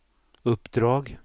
uppdrag